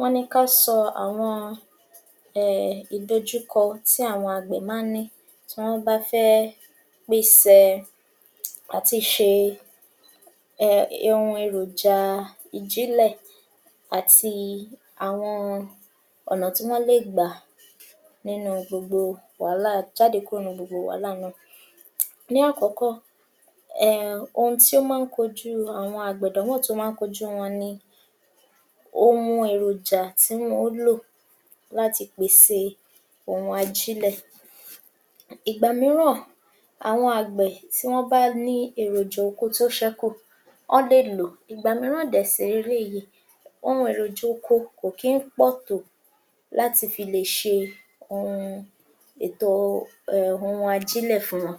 Wọ́n ní ká sọ àwọn um ìdojúkọ tí àwọn àgbẹ̀ má ń ní tí wọ́n bá fẹ́ pesẹ̀ àtiṣe um ihun eròjàà ìjílẹ̀ àti àwọn ọ̀nà tí wọ́n lè gbà nínú gbogbo wàhálà...jáde kúrò nínú gbogbo wàhálà náà. Ní àkọ́kọ́, um ohun tí ó mọ́ ń kojú gbogbo àwọn àgbẹ̀...àdánwò tí ó mọ́ ń kojú wọn ni ohun èròjà tí wọn ó lò láti pèsè ohun ajílẹ̀. Ìgbà mìíràn, àwọn àgbẹ̀ tí wọ́n bá ní èròjà oko tó sẹ́kù ọ́n lè ló. Ìgbà mìíràn dẹ̀ sì leléyìí ohun eròjà oko kò kí ń pọ̀ tó láti fi lè ètò ohun um ohun ajílẹ̀ fún wọn.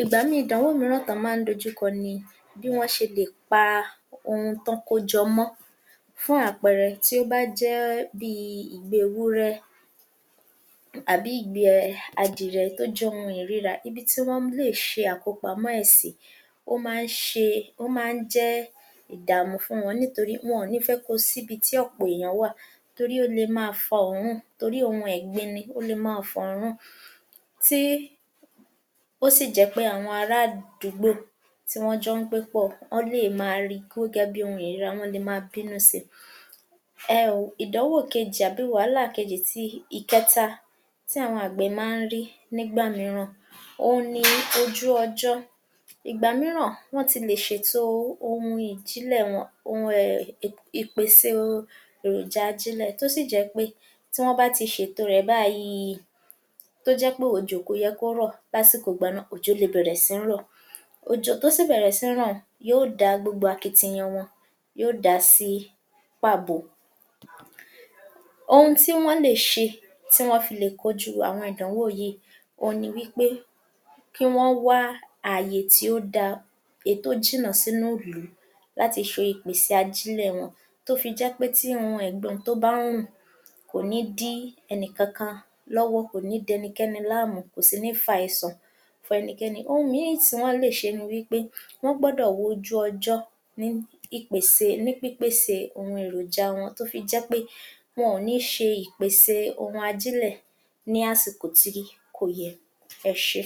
Ìgbà mìíìn ìdánwò mìíràn tán án má ń dojú kọ ni bí wọ́n ṣe lè paa ohun tán kó jọ mọ́. Fún àpẹẹrẹ tó bá jẹ́ bíi ìgbẹ́ ewúrẹ́ àbí ìgbẹ́ẹ adìrẹ̀ tó jẹ́ ohun ìríra ibi tí wọ́n lè ṣe àkópamọ́ ẹ̀ sí ó má ń ṣe, ó má ń jẹ́ ìdààmú fún wọn. Nítorí wọn ò ní fẹ́ kó o síbi tí ọ̀pọ̀ ènìyàn wà torí ó le máa fa òórùn torí ohun ẹ̀gbin ni ó le máa fa òórùn tí, ó sì jẹ́ pé àwọn ará àdúgbò tí wọ́n jọ ń gbé pọ̀ wọ́n le máa rí gíógẹ́ bí ohun ìríra, wọ́n lè máa bínú sí i. um ìdánwò kejì àbí wàhálà kejì ti ìkẹta tí àwọn àgbẹ̀ má ń rí nígbà mìíràn oun ni ojú ọjọ́. Ìgbà mìíràn wọ́n ti le ṣètò ohun ìjílẹ̀ wọ́n, ohun um ì...ì...ìpèsè ohun eròjà tó sì jẹ́ pé tí wọ́n bá ti ṣètò rẹ̀ báyìíìí tó jẹ́ pé òjò kò yẹ kó rọ̀ lásìkò ìgbà náà, òjò le bẹ̀rẹ̀ sí ń rọ̀. Òjò tó sì bẹ̀rẹ̀ sí ń rọ̀ un yóò da gbogbo akitiyan wọn yóò dà á sí pàbó. Ohun tí wọ́n lè ṣe tí wọ́n fi lè kojú àwọn ìdánwò yìí oun ni wí pé kí wọ́n wá àyè tí ó dáa, èí tó jìnnà sínú ‘lù láti ṣe ìpèsè ajílẹ̀ wọn, tó fi jẹ́ pé tíhun ẹ̀gbin tí bá ń rùn kò ní dí ẹnì kankan lọ́wọ́ kò ní dẹnikẹ́ni láàmú kò sì ní fa àìsàn fún ẹnikẹ́ni. Ohun mìíìn tí wọ́n lè ṣe ni wí pé wọ́n gbọ́dọ̀ wojú ọjọ́ ní ìpèsè...ní pìpèsè ohun eròjà wọn. Tó fi jẹ́ pé wọn ò ní ṣe ìpèsè ohun ajílẹ̀ ní àsìkò tí kò yẹ. Ẹ ṣé.